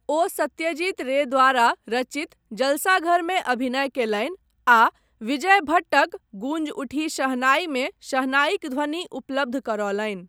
ओ सत्यजीत रे द्वारा रचित जलसाघरमे अभिनय कयलनि आ विजय भट्टक 'गूंज उठी शहनाई' मे शहनाईक ध्वनि उपलब्ध करौलनि।